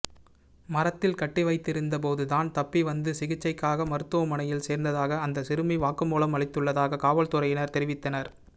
மரத்தில் கட்டிவைத்திருந்த போது தான் தப்பி வந்து சிகிச்சைக்காக மருத்துவமனையில் சேர்ந்ததாக அந்த சிறுமி வாக்குமூலம் அளித்துள்ளதாக காவல்துறையினர் தெரிவித்தனர்